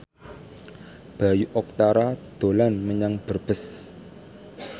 Bayu Octara dolan menyang Brebes